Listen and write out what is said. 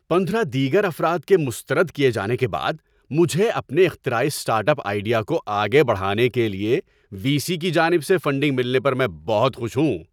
پندرہ دیگر افراد کے مسترد کیے جانے کے بعد مجھے اپنے اختراعی اسٹارٹ اپ آئیڈیا کو آگے بڑھانے کے لیے وی سی کی جانب سے فنڈنگ ملنے پر میں بہت خوش ہوں۔